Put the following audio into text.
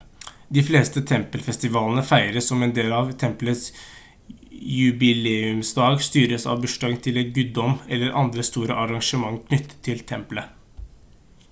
de fleste tempelfestivalene feires som en del av tempelets jubileumsdag styres av bursdagen til en guddom eller andre store arrangement knyttet til tempelet